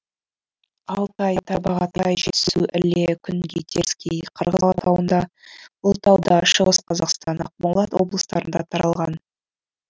алтай тарбағатай жетісу іле күнгей теріскей қырғыз алатауында ұлытауда шығыс қазақстан ақмола облыстарында таралған